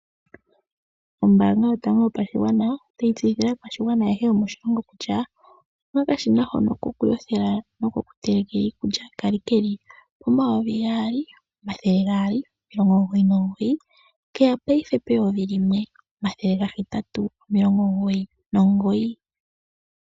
Ombaanga yotango yopashigwana otayi tseyithile aakwashigwana ayehe yomoshilongo kutya oyena okashina hono koku yothela nokoku telekela iikulya kali keli 2299 keya payife 1899.